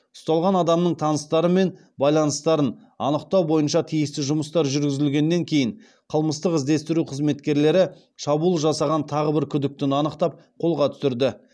ұсталған адамның таныстары мен байланыстарын анықтау бойынша тиісті жұмыстар жүргізілгеннен кейін қылмыстық іздестіру қызметкерлері шабуыл жасаған тағы бір күдіктіні анықтап қолға түсірді